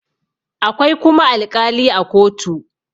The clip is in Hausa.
akwai kuma alƙali a kotu